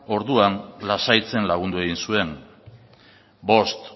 orduan lasaitzen lagundu egin zuen bost